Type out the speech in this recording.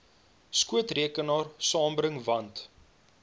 skootrekenaar saambring want